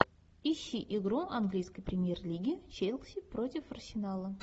ищи игру английской премьер лиги челси против арсенала